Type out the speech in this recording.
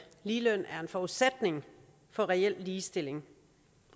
ligeløn er forudsætning for reel ligestilling